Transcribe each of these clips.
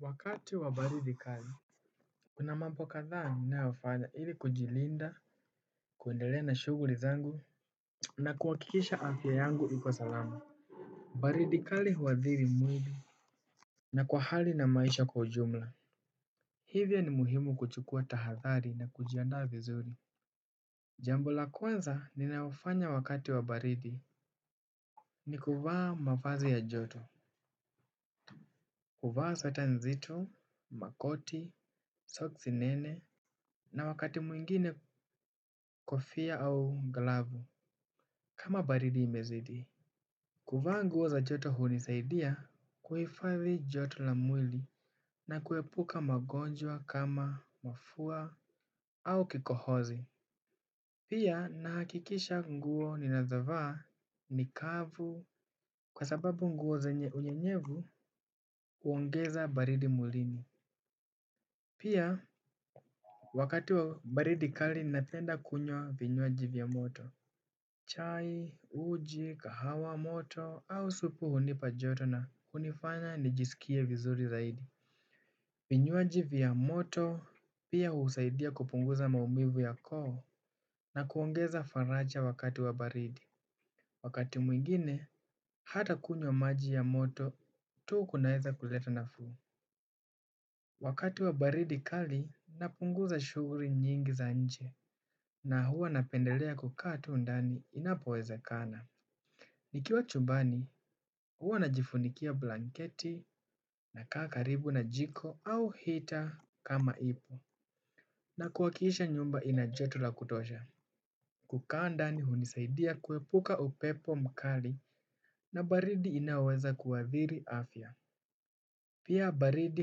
Wakati wa baridi kali kuna mambo kadhaa ninayofanya ili kujilinda. Kuendelea na shughuli zangu na kuhakikisha afya yangu iko salama. Baridi kali huathri mwili. Na kwa hali na maisha kwa ujumla hivyo ni muhu kuchukua tahathari na kujiandaa vizuri. Jambo la kwanza ninayofanya wakati wa baridi ni kuvaa mavazi ya joto. Kuvaa sweta nzito, makoti, soksi nene na wakati mwingine kofia au glavu kama baridi imezidi. Kuvaa nguo za joto hunisaidia kuhifadhi joto la mwili na kuepuka magonjwa kama mafua au kikohozi. Pia na hakikisha nguo ninazovaa ni kavu kwa sababu nguo zenye unyenyevu huongeza baridi mwlini pia wakati wa baridi kali napenda kunywa vinywaji vya moto chai uji kahawa moto au supu hunipa joto na unifanya nijisikie vizuri zaidi. Vinywaji vya moto pia husaidia kupunguza maumivu ya koo na kuongeza faraja wakati wa baridi. Wakati mwingine hata kunywa maji ya moto tu kunaweza kuleta nafuu. Wakati wa baridi kali napunguza shughuli nyingi za nje na huwa napendelea kukaa tu ndani inapoweza kana. Nikiwa chumbani, huwa najifunikia blanketi na kaa karibu na jiko au heater kama ipo. Na kuhakikisha nyumba inajoto la kutosha. Kukaa ndani hunisaidia kuepuka upepo mkali na baridi inaoweza kuadhiri afya. Pia baridi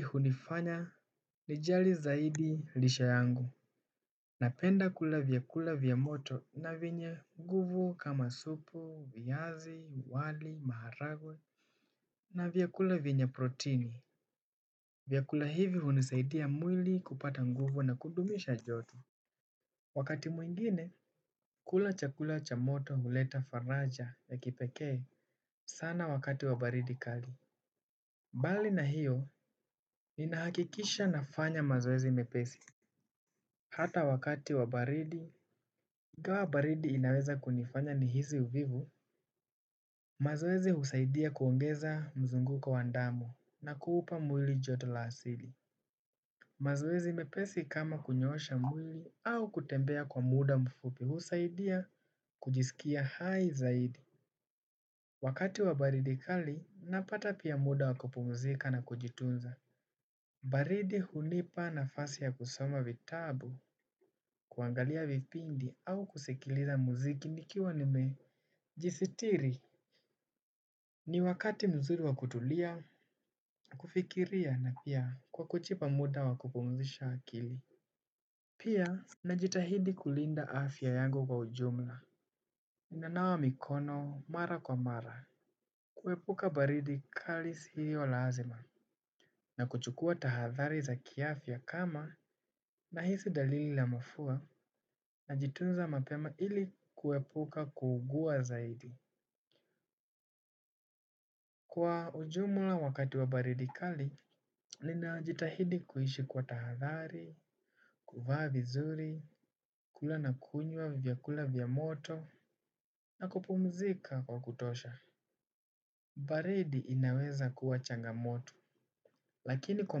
hunifanya lijali zaidi lisha yangu. Napenda kula vyakula vya moto na venye nguvu kama supu, viazi, wali, maharagwe. Na vyakula venye protini vyakula hivi hunisaidia mwili kupata nguvu na kudumisha joto. Wakati mwingine kula chakula cha moto huleta faraja ya kipekee sana wakati wa baridi kali mBali na hiyo ninahakikisha nafanya mazoezi mepesi. Hata wakati wa baridi ingawa baridi inaweza kunifanya ni hisi uvivu. Mazoezi husaidia kuongeza mzunguko wa damu na kupa mwili joto la asili. Mazoezi mepesi kama kunyoosha mwili au kutembea kwa muda mfupi husaidia kujisikia hai zaidi. Wakati wa baridi kali napata pia muda wa kupumzika na kujitunza. Baridi hunipa nafasi ya kusoma vitabu kuangalia vipindi au kusikiliza muziki nikiwa nime jisitiri. Ni wakati mzuri wa kutulia na kufikiria na pia kwa kujipa muda wa kupumzisha akili. Pia na jitahidi kulinda afya yangu kwa ujumla. Ninanawa mikono mara kwa mara. Kuepuka baridi khali sio lazima. Na kuchukua tahathari za kiafya kama na hisi dalili la mafua. Najitunza mapema ili kuepuka kuugua zaidi. Kwa ujumla wakati wa baridi khali nina jitahidi kuishi kwa tahathari. Kuvaa vizuri kula na kunywa vyakula vya moto na kupumzika kwa kutosha baridi inaweza kuwa changa moto. Lakini kwa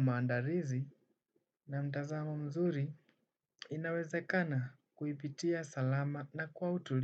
maandalizi na mtazamo mzuri inawezakana kuipitia salama na kuwa utulivu.